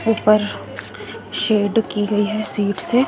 ऊपर शेड की गई है शीट से।